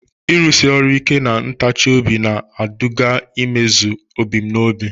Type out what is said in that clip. Ịrụsi ọrụ ike na ntachi obi na-eduga n'imezu ebumnobi.